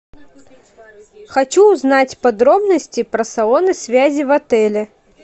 хочу узнать подробности про салоны связи в отеле